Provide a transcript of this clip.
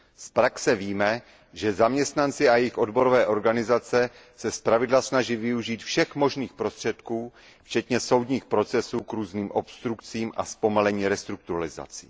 Z praxe víme, že zaměstnanci a jejich odborové organizace se zpravidla snaží využít všech možných prostředků, včetně soudních procesů, k různým obstrukcím a zpomalení restrukturalizací.